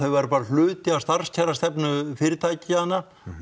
væru bara hluti af starfskjarastefnu fyrirtækjanna